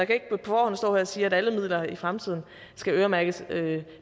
kan ikke på forhånd stå her og sige at alle midler i fremtiden skal øremærkes